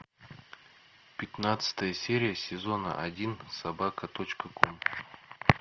пятнадцатая серия сезона один собака точка ком